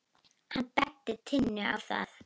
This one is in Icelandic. Hann benti Tinnu á það.